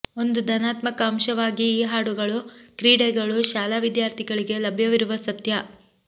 ಒಂದು ಧನಾತ್ಮಕ ಅಂಶವಾಗಿ ಈ ಹಾಡುಗಳು ಕ್ರೀಡೆಗಳು ಶಾಲಾ ವಿದ್ಯಾರ್ಥಿಗಳಿಗೆ ಲಭ್ಯವಿರುವ ಸತ್ಯ